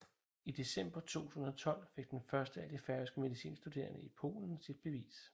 I december 2012 fik den første af de færøske medicinstuderende i Polen sit bevis